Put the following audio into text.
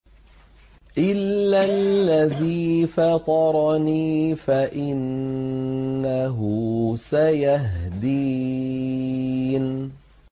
إِلَّا الَّذِي فَطَرَنِي فَإِنَّهُ سَيَهْدِينِ